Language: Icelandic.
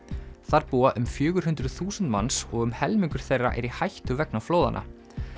þar búa um fjögur hundruð þúsund manns og um helmingur þeirra er í hættu vegna flóðanna